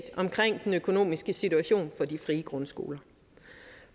omkring den økonomiske situation for de frie grundskoler